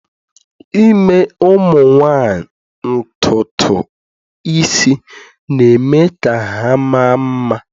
ime ụmụ nwanyị ntutu isi, na-eme ka ha maa mma